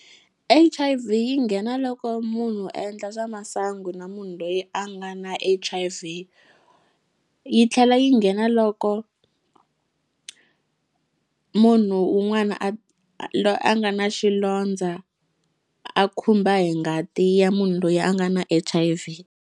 H_I_V yi nghena loko munhu a endla swa masangu na munhu loyi a nga na H_I_V yi tlhela yi nghena loko munhu un'wana a loyi a nga na xilondza a khumba hi ngati ya munhu loyi a nga na H_I_V.